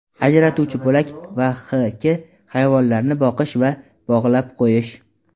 ajratuvchi bo‘lak va h.k.) hayvonlarni boqish va bog‘lab qo‘yish.